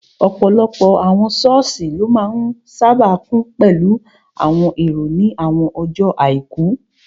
Ọ̀pọ̀lọpọ̀ àwọn sọ́ọ̀sì ló máa n sáábà kún pẹ̀lú àwọn èrò ní àwọn ọjọ́ àìkú